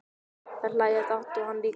Þær hlæja dátt og hann líka.